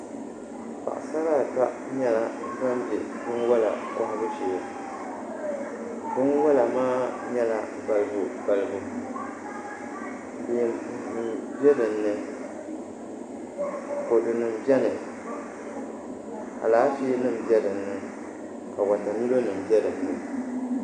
Paɣasara ata nyɛla ban bɛ binwola kohabu shee binwola maa nyɛla balibu balibu leemu nim bɛ dinni kodu nim biɛni Alaafee nim bɛ dinni ka wotamilo nim bɛ dinni